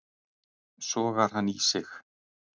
Sogar hann í sig.